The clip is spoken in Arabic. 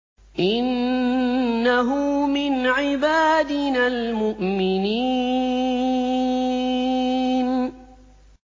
إِنَّهُ مِنْ عِبَادِنَا الْمُؤْمِنِينَ